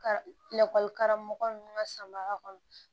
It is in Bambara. Ka lakɔlikaramɔgɔ ninnu ka samara kɔnɔ